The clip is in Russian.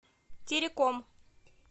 тереком